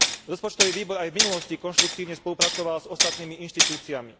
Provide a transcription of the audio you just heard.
Rozpočtový výbor aj v minulosti konštruktívne spolupracoval s ostatnými inštitúciami.